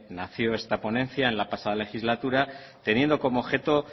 nació esta ponencia en la pasada legislatura teniendo como objeto